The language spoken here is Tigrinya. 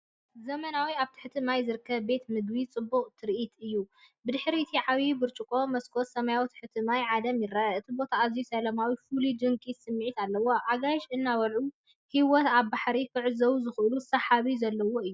ዘመናዊ ኣብ ትሕቲ ማይ ዝርከብ ቤት መግቢ ጽቡቕ ትርኢት እዩ። ብድሕሪ እቲ ዓበይቲ ብርጭቆታት መስኮት፡ ሰማያዊ ትሕቲ ማይ ዓለም ይርአ። እቲ ቦታ ኣዝዩ ሰላማዊ፣ ፍሉይን ድንቂን ስምዒት ኣለዎ፤ ኣጋይሽ እናበልዑ ህይወት ባሕሪ ክዕዘቡሉ ዝኽእሉ ስሕበት ዘለዎ እዩ።